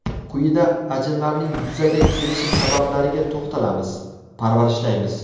Quyida ajinlarning yuzaga kelishi sabablariga to‘xtalamiz: Parvarishlaymiz!